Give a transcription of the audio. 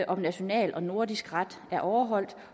om national og nordisk ret er overholdt og